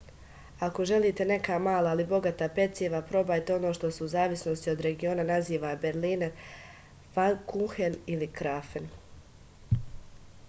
ako želite neka mala ali bogata peciva probajte ono što se u zavisnosti od regiona naziva berliner fankuhen ili krafen